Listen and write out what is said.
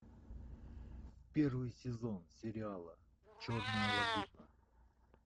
первый сезон сериала черная лагуна